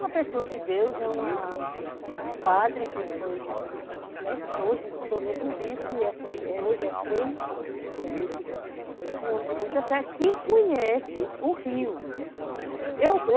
Uma pessoa de Deus, é uma, um padre que foi, né, hoje tornou-se um bispo, hoje é Frei, um homem de muita fé, que conhece o rio. Eu